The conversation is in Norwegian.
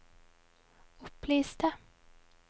opplyste